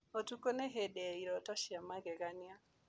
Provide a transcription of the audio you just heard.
Ũtukũ nĩ hĩndĩ ya iroto cia magegania.